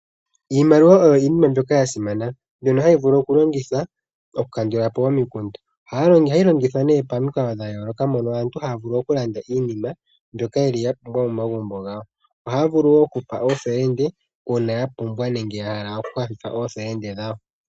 Iimaliwa oyo iinima mbyoka ya simana mbyono hayi vulu okulongithwa oku kandula po omikundu. Ohayi longithwa nee pamikalo dha yooloka mono aantu ha ya vulu okulanda iinima mbyoka ye li ya pumbwa momagumbo gawo. Ohaya vulu wo oku pa oofelende uuna ya pumbwa nenge ya hala oku kwathela oofelende dhawo.